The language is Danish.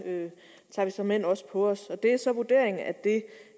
såmænd også på os det er så vurderingen at det